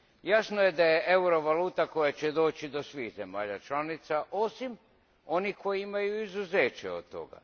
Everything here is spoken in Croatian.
Jasno je da je euro valuta koja će doći do svih zemalja članica, osim onih koje imaju izuzeće od toga.